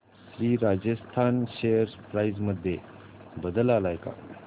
Shri Rajasthan share price मध्ये बदल आलाय का